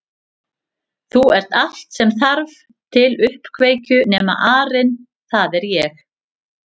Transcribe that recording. Þú ert allt sem þarf til uppkveikju nema arinn það er ég